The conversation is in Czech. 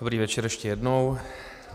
Dobrý večer ještě jednou.